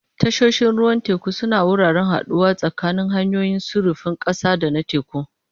Tashoshin ruwan teku sune wuraren haɗuwa tsakanin hanyoyin sufurin ƙasa da na teku.